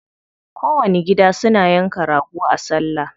Kowanni gida suna yanka rago a salla.